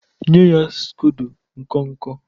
nye ya scodo nkọ nkọ!